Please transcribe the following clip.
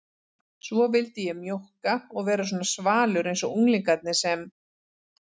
Svo vildi ég mjókka og vera svona svalur einsog unglingarnir sem